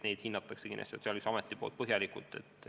Neid hinnatakse Sotsiaalkindlustusametis kindlasti põhjalikult.